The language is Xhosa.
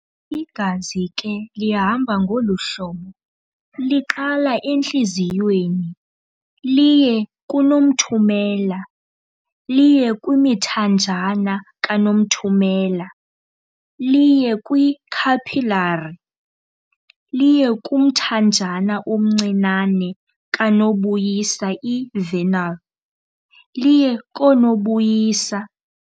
Igazi ke lihamba ngolu hlobo- liqala entliziyweni liye kunothumela- liye kwimithanjana kanothumela liye kwi-capillary liye kumthanjana omncinane kanobuyisa i-venule liye koonobuyisa.